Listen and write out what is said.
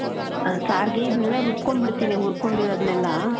ಹ , ಸಾರ್ಗೆ ಇದನೆಲ್ಲ ರುಬ್ಕೊಂಡ್ ಬಿಡ್ತೀನಿ, ಹುರ್ಕೊಂಡಿರೋದ್ನೆಲ್ಲಾ.